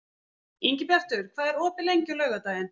Ingibjartur, hvað er opið lengi á laugardaginn?